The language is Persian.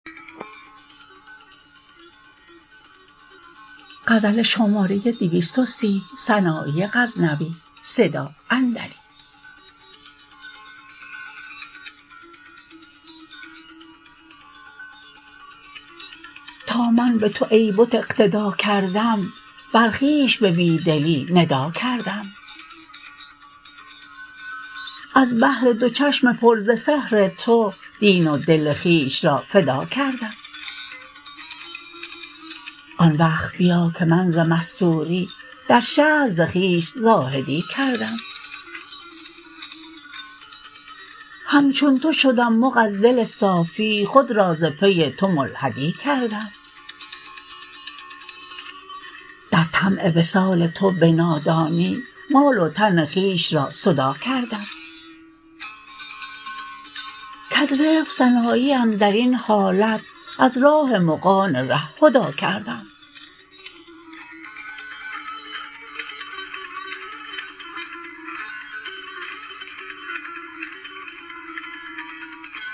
تا من به تو ای بت اقتدی کردم بر خویش به بی دلی ندی کردم از بهر دو چشم پر ز سحر تو دین و دل خویش را فدی کردم آن وقت بیا که من ز مستوری در شهر ز خویش زاهدی کردم همچون تو شدم مغ از دل صافی خود را ز پی تو ملحدی کردم در طمع وصال تو به نادانی مال و تن خویش را سدی کردم کز رفق سنایی اندرین حالت از راه مغان ره هدی کردم